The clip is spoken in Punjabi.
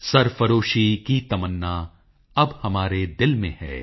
ਸਰਫਰੋਸ਼ੀ ਕੀ ਤਮਨਾ ਅਬ ਹਮਾਰੇ ਦਿਲ ਮੇ ਹੈ